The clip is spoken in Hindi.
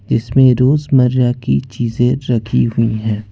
इसमें रोज मारया की चीज रखी हुई है।